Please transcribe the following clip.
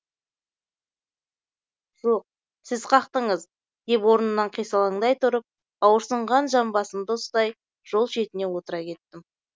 жоқ сіз қақтыңыз деп орнымнан қисалаңдай тұрып ауырсынған жамбасымды ұстай жол шетіне отыра кеттім